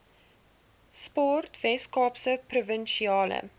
sport weskaapse provinsiale